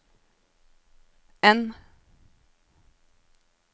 N